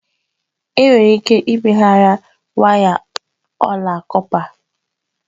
Enwere ike ịmegharị waya ọla kọpa.